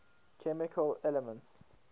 chemical elements